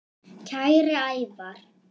Kæri Ævar.